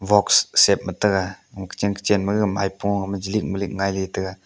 box shape ma taga kochen kochen ma gag maipung gama jilik milik ngailey taga.